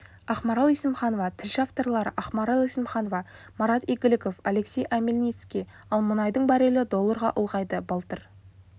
ақмарал есімханова тілші авторлары ақмарал есімханова марат игіліков алексей омельницкий ал мұнайдың баррелі долларға ұлғайды былтыр